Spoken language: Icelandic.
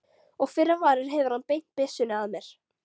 Og fyrr en varir hefur hann beint byssunni að mér.